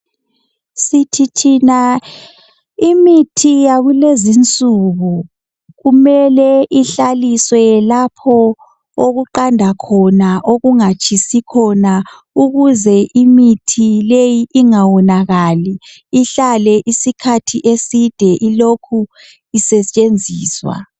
Sithi thina imithi yakulezinsuku kumele ihlaliswe lapho okuqanda khona. Okungatshisi khona ukuze imithi leyi ingawonakali, ihlale isikhathi eside ilokhu isetshenziswa.